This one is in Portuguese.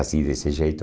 Assim, desse jeito.